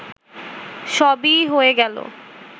সবই হয়ে গেল